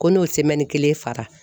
Ko n'o kelen fara.